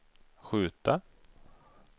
skjuta